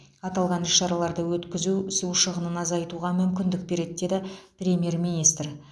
аталған іс шараларды өткізу су шығынын азайтуға мүмкіндік береді деді премьер министр